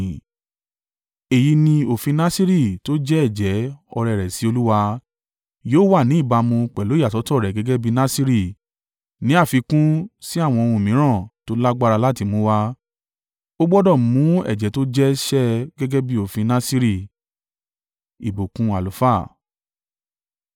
“ ‘Èyí ni òfin Nasiri tó jẹ́ ẹ̀jẹ́, ọrẹ rẹ̀ sí Olúwa, yóò wà ní ìbámu pẹ̀lú ìyàsọ́tọ̀ rẹ̀ gẹ́gẹ́ bí Nasiri, ní àfikún sí àwọn ohun mìíràn tó lágbára láti mú wá. Ó gbọdọ̀ mú ẹ̀jẹ́ tó jẹ́ ṣe gẹ́gẹ́ bí òfin Nasiri.’ ”